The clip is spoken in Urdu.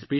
گے